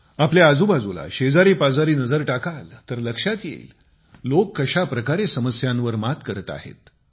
आपल्या आजूबाजूला शेजारीपाजारी नजर टाकाल तर लक्षात येईल लोक कशाप्रकारे समस्यांवर मात करीत आहेत